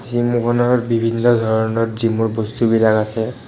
Gym বিভিন্ন ধৰণৰ জিমৰ বস্তু বিলাক আছে।